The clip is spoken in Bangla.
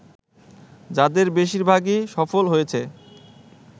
যাদের বেশিরভাগই সফল হয়েছে